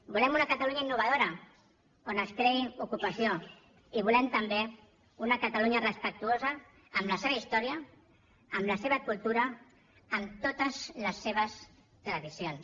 volem una catalunya innovadora on es creï ocupació i volem també una catalunya respectuosa amb la seva història amb la seva cultura amb totes les seves tradicions